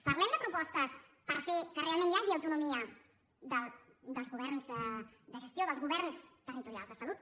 parlem de propostes per fer que realment hi hagi autonomia de gestió dels governs territorials de salut